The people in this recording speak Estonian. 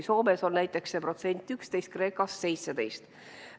Soomes on näiteks see protsent 11, Kreekas 17.